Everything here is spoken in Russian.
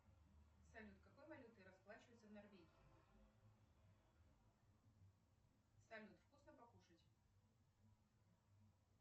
салют какой валютой расплачиваются в норвегии салют вкусно покушать